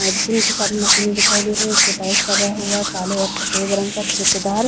और जिम की सारी मशीने दिखाई दे रही है जिसपे टाइल्स लगा हुआ है काले और सफेद रंग का चिकदार --